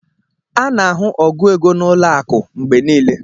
A na-ahụ ogu ego na ụlọ akụ mgbe niile